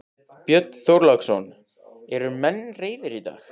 Björn Þorláksson: Eru menn reiðir í dag?